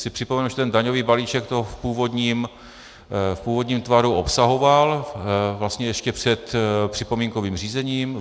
Chci připomenout, že ten daňový balíček to v původním tvaru obsahoval, vlastně ještě před připomínkovým řízením.